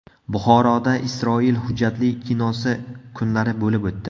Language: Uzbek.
Buxoroda Isroil hujjatli kinosi kunlari bo‘lib o‘tdi.